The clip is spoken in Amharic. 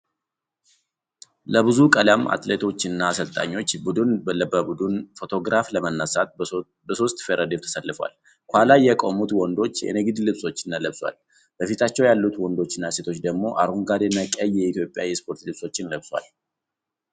ለብዙ ቀለም አትሌቶች እና አሰልጣኞች ቡድን በቡድን ፎቶግራፍ ለመነሳት በሦስት ረድፍ ተሰልፈዋል። ከኋላ የቆሙት ወንዶች የንግድ ልብሶችን ለብሰዋል፣ በፊታቸው ያሉት ወንዶችና ሴቶች ደግሞ አረንጓዴና ቀይ የኢትዮጵያ የስፖርት ልብሶችን ለብሰዋል።